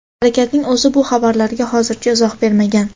Harakatning o‘zi bu xabarlarga hozircha izoh bermagan.